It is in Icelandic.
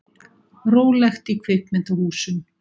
Rólegt í kvikmyndahúsum